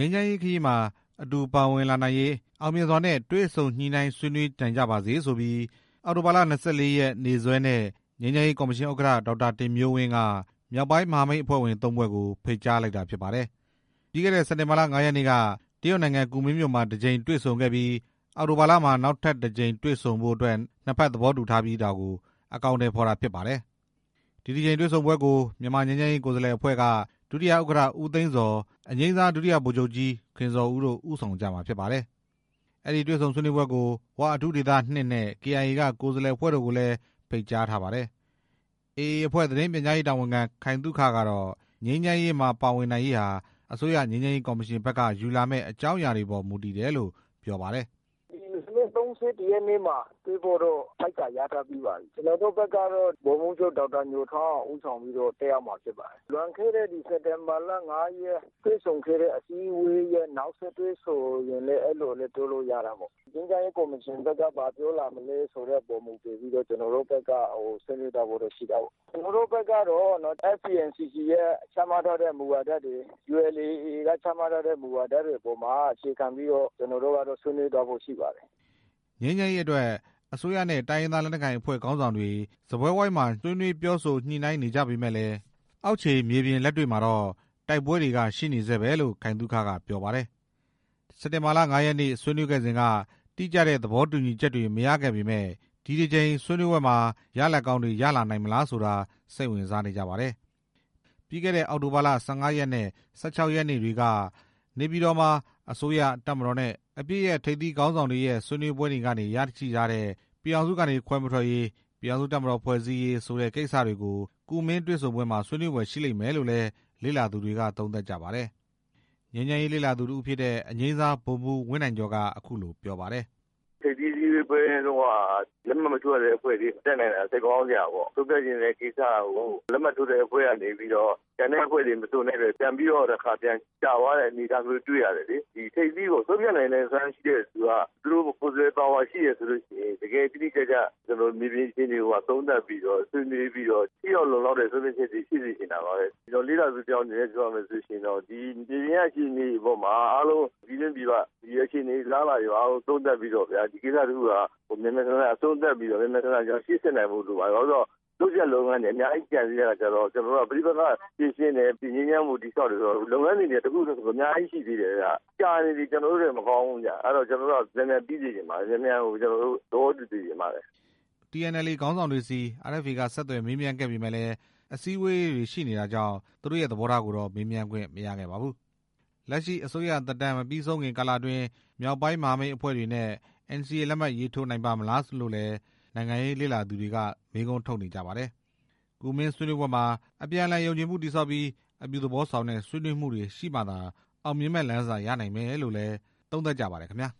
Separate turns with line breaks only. မ်းရေးခရီးမှာ အတူပါဝင်လာနိုင်ရေး အောင်မြင်စွာနဲ့ တွေ့ဆုံညှိနှိုင်းဆွေးနွေးနိုင်ကြပါစေဆိုပြီး အောက်တိုဘာလ ၂၄ ရက် နေ့စွဲနဲ့ ငြိမ်းချမ်းရေးကော်မရှင်ဥက္ကဌ ဒေါက်တာတင်မျိုးဝင်းက မြောက်ပိုင်းမဟာမိတ်အဖွဲ့ဝင် ၃ ဖွဲ့ကို ဖိတ်ကြားလိုက်တာဖြစ်ပါတယ်။ ပြီးခဲ့တဲ့ စက်တင်ဘာလ ၅ ရက်နေ့က တရုတ်နိုင်ငံ ကူမင်းမြို့မှာ တစ်ကြိမ်တွေ့ဆုံခဲ့ပြီး အောက်တိုဘာလမှာ နောက်တစ်ကြိမ်တွေ့ဆုံဖို့အတွက် နှစ်ဖက်သဘောတူထားပြီးတာကို အကောင်အထည်ဖော်တာ ဖြစ်ပါတယ်။ ဒီတစ်ကြိမ်တွေ့ဆုံပွဲကို မြန်မာငြိမ်းချမ်းရေးကိုယ်စားလှယ်အဖွဲ့က ဒုတိယဥက္ကဌ ဦးသိန်းဇော် အငြိမ်းစား ဒုတိယဗိုလ်ချုပ်ကြီး ခင်ဇော်ဦးတို့ ဦးဆောင်ကြမှာဖြစ်ပါတယ်။ အဲဒီတွေ့ဆုံဆွေးနွေးပွဲကို ဝ အထူးဒေသ ၂ နဲ့ KIA က ကိုယ်စားလှယ်အဖွဲ့တို့ကိုလည်း ဖိတ်ကြားထား ပါတယ်။ AA အဖွဲ့ သတင်းပြန်ကြားရေးတာဝန်ခံ ခိုင်သုခကတော့ ငြိမ်းချမ်းရေးကော်မရှင်ဘက်က ယူလာမယ့် အကြောင်းအရာတွေအပေါ် မူတည်မယ်လို့ ပြောပါတယ်။
‘’ဒီလာမယ့် ၃၁ ရက်နေ့မှာတွေ့ဖိုတော့ ဖိတ်စာရထားပြီးပါပြီ၊ ကျနော်တို့ဘက်ကတော့ ဗိုလ်မှူးချုပ် ဒေါက်တာညိုထွန်းအောင် ဦးဆောင်ပြီးတော့ တက်ရောက်မှာဖြစ်ပါတယ်၊ လွန်ခဲ့တဲ့စက်တင်ဘာလ ၅ ရက် တွေ့ဆုံအစည်းအဝေးရဲ့ နောက်ဆက်တွဲဆိုရင်လည်းပြောလို့ရတာပေါ့၊ ငြိမ်းချမ်းရေးကော်မရှင်ဘက်က ဘာပြောလာမလဲဆိုတာမူတည်ပြီးတော့ ကျွန်တော်တို့ဘက်က ဆွေးနွေးသွားဖို့တော့ရှိတာပေါ့၊ ကျနော်တို့ဘက်ကတော့ FPNCC ရဲ့ ချမှတ်ထားတဲ့မူဝါဒတွေ ULA AA က ချမှတ်ထားတဲ့မူဝါဒတွေအပေါ်မှာ အခြေခံပြီးတော့ ဆွေးနွေးသွားဖို့ရှိပါတယ်’’
ငြိမ်းချမ်းရေးဖြစ်စဉ်အတွက် အစိုးရနဲ့ တိုင်းရင်းသားလက်နက်ကိုင်အဖွဲ့ခေါင်းဆောင်တွေ စားပွဲဝိုင်းမှာ ဆွေးနွေးပြောဆိုညှိနှိုင်းနေကြပေမယ့်လည်း အောင်ခြေမြေပြင်လက်တွေ့မှာတော့ တိုက်ပွဲတွေကရှိနေတုန်းပဲလို့ ခိုင်သုခက ပြောပါတယ်။ စက်တင်ဘာလ ၅ ရက်နေ့ ဆွေးနွေးခဲ့စဉ်က တိကျတဲ့သဘောတူညီချက်တွေ မရခဲ့ပေမဲ့ ဒီတစ်ကြိမ် ဆွေးနွေးပွဲမှာ ရလဒ်ကောင်းတွေ ဘယ်လောက် ဖြစ်လာနိုင်မလဲဆိုတာ စိတ်ဝင်စားနေကြပါတယ်။ ပြီးခဲ့တဲ့ အောက်တိုဘာလ ၁၅ ရက်နဲ့ ၁၆ ရက်နေ့တွေက နေပြည်တော်မှာ အစိုးရ၊ တပ်မတော်နဲ့ အပစ်ရပ်လက်မှတ်ထိုး ၁၀ ဖွဲ့ထိပ်သီးခေါင်းဆောင်တွေရဲ့ ဆွေးနွေးပွဲတွေကနေရရှိထားတဲ့ ပြည်ထောင်စုကနေခွဲမထွက်ရေး၊ ပြည်ထောင်စုတပ်မတော်ဖွဲ့စည်းရေးဆိုတဲ့ ခေါင်းစဉ်တွေကို ဆွေးနွေး ဖွယ်ရှိလိမ့်မယ်လို့လည်း ယူဆနေကြပါတယ်။ ငြိမ်းချမ်းရေးလေ့လာသူတစ်ဦးဖြစ်တဲ့ အငြိမ်းစား ဗိုလ်မှူး ဝင်းနိုင်ကျော်က အခုလိုပြောပါတယ်။
‘’ထိပ်သီးအစည်းအဝေးပွဲတုန်းက လက်မှတ်မထိုးရသေးအဖွဲ့တွေ မတက်နိုင်တာ စိတ်မကောင်းစရာပေါ့၊ ဆုံးဖြတ်ချင်တဲ့ကိစ္စကို လက်မှတ်ထိုးတဲ့အဖွဲ့ကနေပြီးတော့ ကျန်တဲ့အဖွဲ့တွေပြန်ပြီးတော့ ကြာသွားတဲ့ အနေအထားလည်းတွေ့ရတယ်လေ၊ ဒီထိပ်သီးပေါ့ ဆုံးဖြတ်နိုင်စွမ်းရှိတဲ့သူက သူတို့ကိုယ်စားလှယ်ပါဝါရှိတဲ့သူက တကယ်တိတိကျကျမြေပြင်အခြေအနေတွေကိုပါ သုံးသပ်ဆွေးနွေးပြီးတော့ ထိရောက်လုံလောက်တဲ့ ဆုံးဖြတ်ချက်မျိုးတော့ရှိစေချင်တာပါပဲ၊ ကျနော်လ့လာသူတစ်ယောက်အနေနဲ့ ပြောရမယ်ဆိုရင်တော့ ဒီမြေပြင်က အခြေအနေအားလုံး ပြည်တွင်းပြည်ပ ဒီအခြေအနေတွေအားလုံး သုံးသပ်ပြီးတော့ဗျာ ဒီကိစ္စတစ်ခုဟာ မြန်မြန် ဆန်ဆန် အဆုံးသတ်ပြီးတော့ မြန်မြန်ဆန်ဆန်ရှေ့ဆက်နိုင်ဖို့လိုပါတယ်၊ ဘာဖြစ်လို့လဲဆိုတော့ လုပ်စရာ လုပ်ငန်းတွေက အများကြီးကျန်နေသေးတာဆိုတော့ ပဋိပက္ခဖြေရှင်းတယ်၊ ငြိမ်းချမ်းမှုကို တည်ဆောက်တယ် ဆိုတော့ လုပ်ငန်းစဉ်တွေက တစ်ခုနဲ့တစ်ခုအများကြီးရှိသေးတယ်ဗျ၊ ကြာနေရင် ကျနော်တို့အတွက် မကောင်းဘူးဗျ၊ အဲတော့ကျနော်တို့ကတော့ မြန်မြန်ပြီးစေချင်ပါတယ် မြန်မြန်ကို သဘောတူစေချင်ပါတယ် ’’
TNLA ခေါင်းဆောင်တွေဆီ RFA က ဆက်သွယ်မေးမြန်းခဲ့ပေမဲ့ အစည်းအဝေးရှိနေတာကြောင့် သူတို့ရဲ့ သဘောထားကိုတော့ မေးမြန်းခွင့်မရခဲ့ပါဘူး။ လက်ရှိအစိုးရသက်တမ်း မပြီးဆုံးခင်ကာလအတွင်း မြောက်ပိုင်းမဟာမိတ်အဖွဲ့တွေနဲ့ NCA လက်မှတ်ရေးထိုးနိုင်ပါ့မလားလို့လည်း နိုင်ငံရေးလေ့လာသူတွေက မေးခွန်းထုတ်နေကြပါတယ်။ ကူမင်းဆွေးနွေးပွဲမှာ အပြန်အလှန် ယုံကြည်မှုတည်ဆောက်ပြီး အပြုသဘောဆောင်တဲ့ ဆွေးနွေးမှုတွေရှိမှသာ အောင်မြင်မယ့်လမ်းစရနိုင်မယ်လို့လည်း သုံးသပ်ကြပါတယ်ခင်ဗျာ။